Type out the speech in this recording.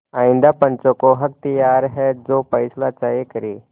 आइंदा पंचों का अख्तियार है जो फैसला चाहें करें